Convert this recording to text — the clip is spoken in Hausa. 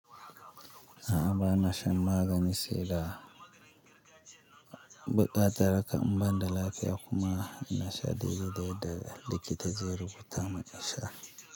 A'a bana shan maganin saida, buƙatar hakan in banda lafiya kuma nasha dai-dai yadda likita zai rubuta mun sha.